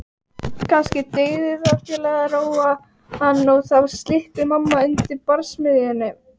Kannski dygði það til að róa hann og þá slyppi mamma undan barsmíðunum.